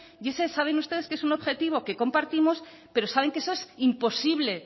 y ese saben ustedes que es un objetivo que compartimos pero saben que eso es imposible